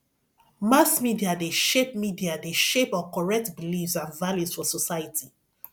mass media de shape media de shape or correct beliefs and values for society